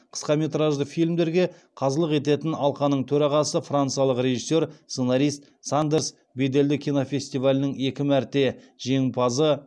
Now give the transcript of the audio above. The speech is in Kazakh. қысқаметражды фильмдерге қазылық ететін алқаның төрағасы франциялық режиссер сценарист сандерс беделді кинофестивалінің екі мәрте жеңімпазы